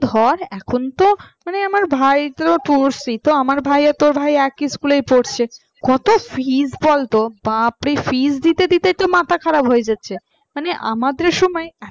ধর এখন তো মানে আমার ভাইতো পড়ছে, তো আমার ভাই আর তোর ভাই তো একই একই school পড়ছে কত fees বলতো বাপরে fees দিতে দিতে তো মাথা খারাপ হয়ে যাচ্ছে মানে আমাদের সময় এত